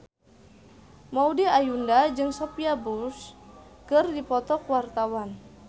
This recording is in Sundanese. Maudy Ayunda jeung Sophia Bush keur dipoto ku wartawan